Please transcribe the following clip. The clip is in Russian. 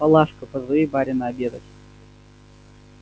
палашка позови барина обедать